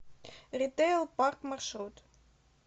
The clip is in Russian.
ритэйл парк маршрут